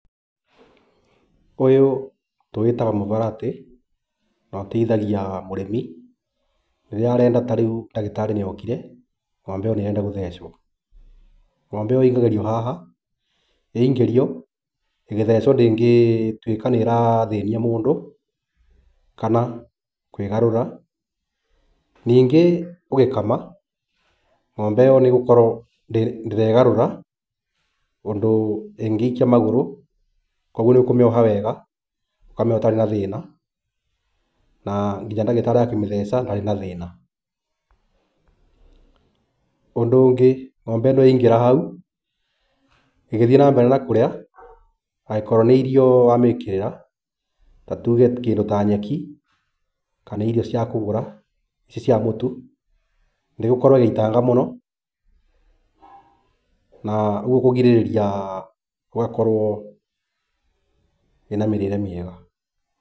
Ũyũ tũwĩtaga mũvaratĩ, na ũteithagia mũrĩmi rĩrĩa arenda tarĩu ndagĩtarĩ nĩokire, ng'ombe ĩyo nĩrenda gũthecwo. Ng'ombe ĩyo ĩingagĩrio haha, yaingĩrio, ĩgĩthecwo ndĩngĩtuĩka nĩrathĩnia mũndũ, kana kwĩgarũra. Ningĩ ũgĩkama ng'ombe ĩyo nĩgũkorwo ndĩregarũra ũndũ ĩngĩikia magũrũ, kuoguo nĩũkũmĩoha wega, ũkamĩoha ĩtarĩ na thĩna, na nginya ndagĩrarĩ akĩmĩthece ndarĩ na thĩna. Ũndũ ũngĩ, ng'ombe ĩno yaingĩra hau, ĩgĩthiĩ nambere na kũrĩa, angĩkorwo nĩ irio wamĩkĩrĩra, ta tuge kĩndũ ta nyeki, kana irio cia kũgũra, ici cia mũtu, ndĩgũkorwo ĩgĩitanga mũno, na ũguo kũgirĩrĩria ũgakorwo ĩna mĩrĩre mĩega.